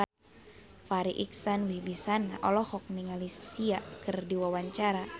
Farri Icksan Wibisana olohok ningali Sia keur diwawancara